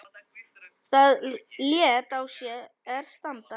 Það lét á sér standa.